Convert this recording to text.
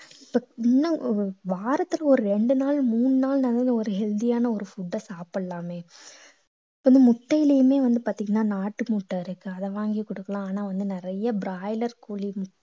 இப்போ இன்னும் வாரத்துக்கு ஒரு ரெண்டு நாள் மூணு நாள்னாலும் ஒரு healthy யான ஒரு food அ சாப்பிடலாமே இப்ப வந்து முட்டையிலயுமே வந்து பாத்தீங்கன்னா நாட்டு முட்டை இருக்கு அதை வாங்கி குடுக்கலாம் ஆனா வந்து நிறைய broiler கோழி முட்டை